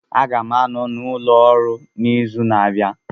Aga m anọ n'ụlọ ọrụ n'izu na-abịa